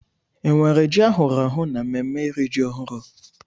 Enwere ji ahụrụ ahụ n'ememme iri ji ọhụrụ?